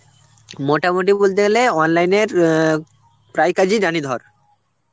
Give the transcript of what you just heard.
মোটামুটি বুলতে গেলে online এর অ্যাঁ প্রায় কাজই জানি ধর.